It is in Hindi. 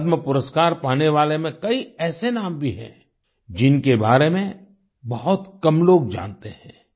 पद्म पुरस्कार पाने वाले में कई ऐसे नाम भी हैं जिनके बारे में बहुत कम लोग जानते हैं